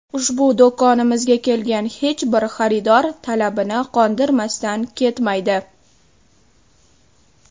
Ushbu do‘konimizga kelgan hech bir xaridor talabini qondirmasdan ketmaydi.